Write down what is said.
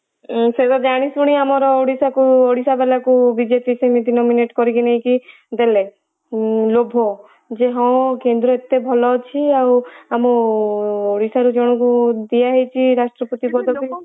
ଉଁ ସେଟା ଜାଣିଶୁଣି ଆମର ଓଡିଶା କୁ ଓଡିଶା ବାଲା ଙ୍କୁ ବିଜେପି ସେମିତି nominate କରିକି ନେଇକି ଦେଲେ, ଉଁ ଲୋଭ ଯେ ହଁ କେନ୍ଦ୍ର ଏତେ ଭଲ ଅଛି ଆଉ ଆମ ଓଡିଶା ରୁ ଜଣକୁ ଦିଆ ହେଇଛି ରାଷ୍ଟ୍ରପତି ପଦ